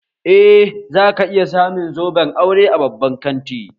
Eh, za ka iya samun zoben aure a babban kanti